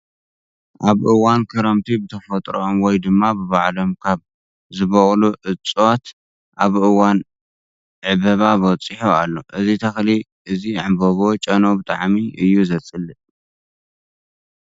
ኣብ እዋን ክረምቲ ብተፈጥሮኦም ወይ ድማ ብባዕሎም ካብ ዝበቁሉ እፅዋት ኣብ እዋን ዕበባ በፂሑ ኣሎ። እዚ ተክሊ እዚ ዕንበብኡ ጨንኡ ብጣዕሚ እዩ ዘፅልእ።